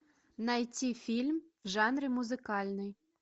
найти фильм в жанре музыкальный